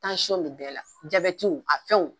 bɛ bɛɛ la a fɛnw